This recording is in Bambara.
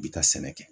I bi taa sɛnɛ kɛ